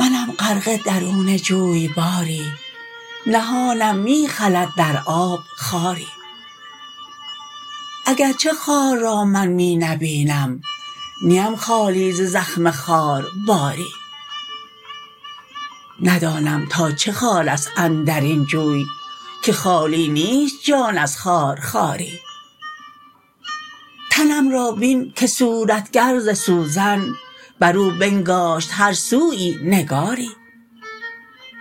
منم غرقه درون جوی باری نهانم می خلد در آب خاری اگر چه خار را من می نبینم نیم خالی ز زخم خار باری ندانم تا چه خار است اندر این جوی که خالی نیست جان از خارخاری تنم را بین که صورتگر ز سوزن بر او بنگاشت هر سویی نگاری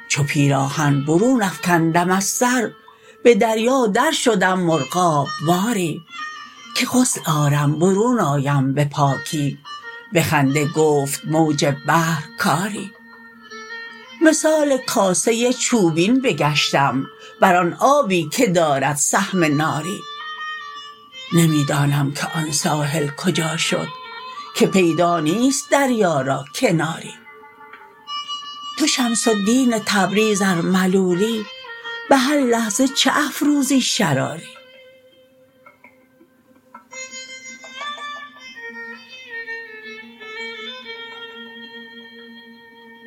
چو پیراهن برون افکندم از سر به دریا درشدم مرغاب واری که غسل آرم برون آیم به پاکی به خنده گفت موج بحر کاری مثال کاسه چوبین بگشتم بر آن آبی که دارد سهم ناری نمی دانم که آن ساحل کجا شد که پیدا نیست دریا را کناری تو شمس الدین تبریز ار ملولی به هر لحظه چه افروزی شراری